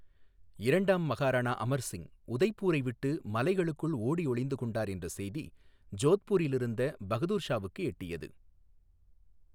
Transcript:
இரண்டாம் மகாராணா அமர் சிங் உதய்பூரை விட்டு மலைகளுக்குள் ஓடியொளிந்து கொண்டார் என்ற செய்தி ஜோத்பூரில் இருந்த பகதூர் ஷாவுக்கு எட்டியது.